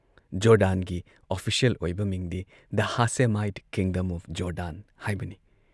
ꯖꯣꯔꯗꯥꯥꯟꯒꯤ official ꯑꯣꯏꯕ ꯃꯤꯡꯗꯤ the Hashemite kingdom of Jordan ꯍꯥꯏꯕꯅꯤ ꯫